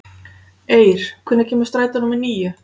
Eir, hvenær kemur strætó númer níu?